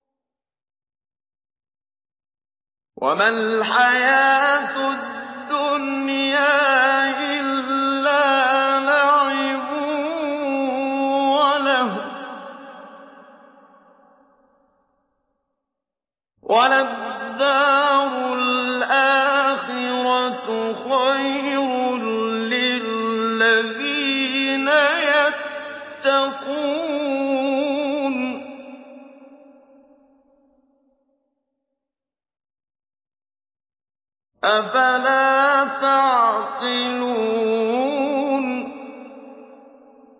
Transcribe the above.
وَمَا الْحَيَاةُ الدُّنْيَا إِلَّا لَعِبٌ وَلَهْوٌ ۖ وَلَلدَّارُ الْآخِرَةُ خَيْرٌ لِّلَّذِينَ يَتَّقُونَ ۗ أَفَلَا تَعْقِلُونَ